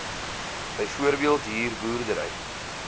byvoorbeeld huur boerdery